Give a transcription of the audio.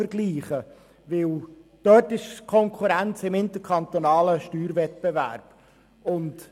Dort ist die Konkurrenz im interkantonalen Steuerwettbewerb zu finden.